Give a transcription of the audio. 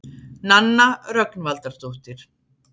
Nanna Rögnvaldardóttir.